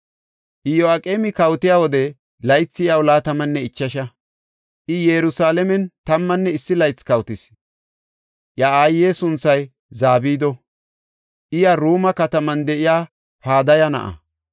Iyo7aqeemi kawotiya wode laythi iyaw laatamanne ichasha; I Yerusalaamen tammanne issi laythi kawotis. Iya aaye sunthay Zabido; iya Ruuma kataman de7iya Padaya na7a.